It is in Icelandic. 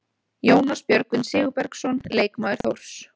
Jónas Björgvin Sigurbergsson, leikmaður Þórs.